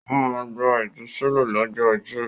Ó máa gba ìtúsílẹ̀ lọ́jọ́ ajé.